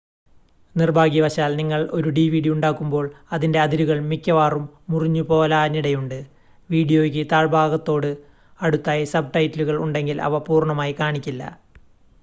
നിർഭാഗ്യവശാൽ നിങ്ങൾ ഒരു ഡിവിഡി ഉണ്ടാക്കുമ്പോൾ അതിൻ്റെ അതിരുകൾ മിക്കവാറും മുറിഞ്ഞുപോലാനിടയുണ്ട് വീഡിയോയ്ക്ക് താഴ്‌ഭാഗത്തോട് അടുത്തായി സബ്ടൈറ്റിലുകൾ ഉണ്ടെങ്കിൽ അവ പൂർണ്ണമായി കാണിക്കില്ല